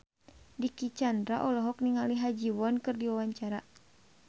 Dicky Chandra olohok ningali Ha Ji Won keur diwawancara